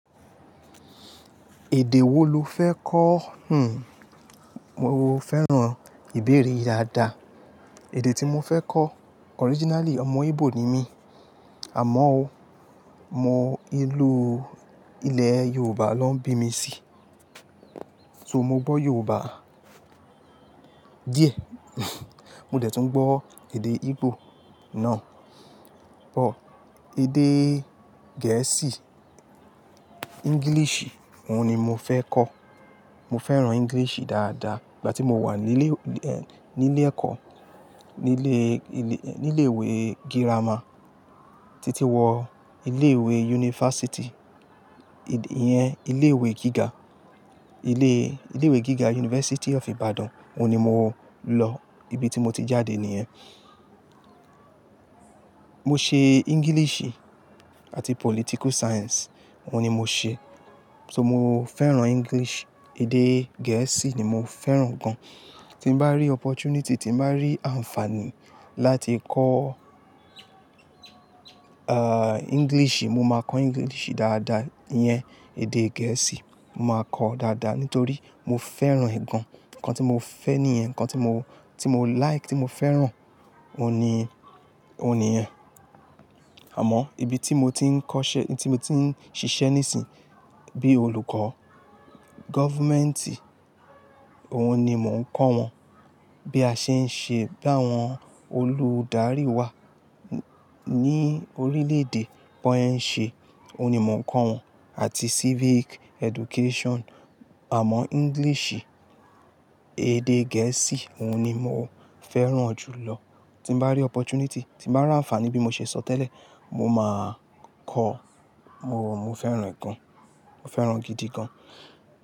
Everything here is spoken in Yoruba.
Èdè wo lo fẹ́ kọ̀? Hmm, mo fẹ́ràn ìbéèrè yìí dáadáa. Èdè tí mo fẹ́ kọ́, originally ọmọ Igbo ni mí, àmọ́ o mo ìlú ilẹ̀ Yorùbá ló ń bí mi sí. So mo gbọ́ Yorùbá díẹ̀. Mo dè tún gbọ́ èdè Igbo náà. Ọ̀, èdè gẹ̀ẹ́sì, English òun ni mo fẹ́ kọ́. Mo fẹ́ràn English dáadáa. Ìgbà tí mo wà ní ilé, ní ilé ẹ̀kọ́, ní ilé, ní ilé ìwé girama títí wọ ilé ìwé yunifásítì, ìyẹn ilé ìwé gíga, ilé, ilé ìwé gíga University of Ibadan òun ni mo lọ, ibi tí mo ti jáde nìyẹn. Mo ṣe English àti Political Science òun ni mo ṣe. So mo fẹ́ràn English, èdè gẹ̀ẹ́sì ni mo fẹ́ràn gan. Tí bá rí opportunity, tí bá rí àǹfààní láti kọ́, ah, English, mo máa kọ́ English dáadáa, ìyẹn èdè gẹ̀ẹ́sì, mo máa kọ́ ọ dáadáa nítorí mo fẹ́ràn ẹ̀ gán. Ǹkan tí mo fẹ́ nìyẹn, ǹkan tí mo, tí mo like, tí mo fẹ́ràn òun ni, òun ni ìyẹn. Àmọ́ ibi tí mo ti ń kọ́ṣẹ́, ibi tí mo ti ń ṣiṣẹ́ nísìn, bí olùkọ́ gọ́fùmẹ́ǹtì, òun ni mò ń kọ́ wọn. Bí a ṣe ń ṣe, bi àwọn olùdarí wa ní orílẹ̀ èdè bọ́ yẹ̀ ń ṣe òun ni mò ń kọ́ wọn àti Civic Education. Àmọ́ English, èdè gẹ̀ẹ́sì òun ni mo fẹ́ràn jù lọ. Tí bá rí opportunity, tí bá rí àǹfààní bí mo ṣe sọ tẹ́lẹ̀, mo máa kọ́ ọ. Mo, mo fẹ́ràn ẹ̀ gan, mo fẹ́ràn gidi gan.